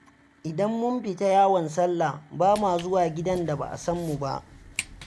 Idan mun fita yawon sallah, ba ma zuwa gidan da ba a san mu ba.